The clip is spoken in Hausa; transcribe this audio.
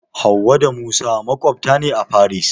Hauwa da Musa maƙwabta ne a Faris.